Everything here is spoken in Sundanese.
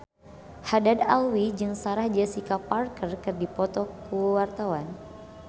Haddad Alwi jeung Sarah Jessica Parker keur dipoto ku wartawan